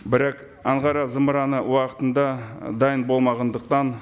бірақ анғара зымыраны уақытынды дайын болмағандықтан